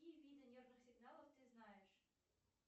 какие виды нервных сигналов ты знаешь